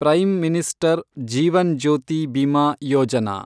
prime minister Jeevan Jyoti Bima Yojana